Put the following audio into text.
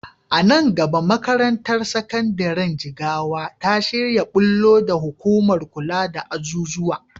A nan gaba makarantar sakandiren Jigawa ta shirya ɓullo da hukumar kula da azuzuwa.